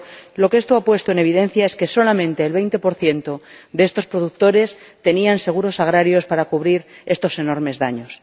Pero lo que esto ha puesto en evidencia es que solamente el 20 de los productores tenían seguros agrarios para cubrir esos enormes daños.